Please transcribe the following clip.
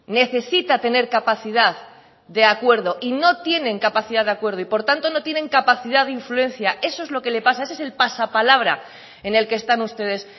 necesita tener capacidad de acuerdo y no tienen capacidad de acuerdo y por tanto no tienen capacidad de influencia eso es lo que le pasa ese es el pasapalabra en el que están ustedes